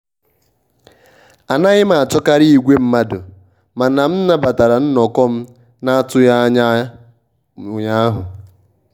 anaghị m achọkarị igwe mmadụ mana m nabatara nnọkọ m na-atụghị anya ụnyaahụ